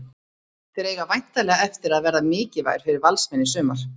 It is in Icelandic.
Þeir eiga væntanlega eftir að verða mikilvægir fyrir Valsmenn í sumar.